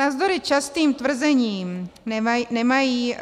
Navzdory častým tvrzením nemají